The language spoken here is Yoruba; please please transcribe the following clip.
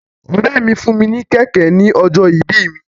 Ọ̀rẹ́ mi fún mi ní kẹ̀kẹ́ ní ọjọ́ ìbí mi.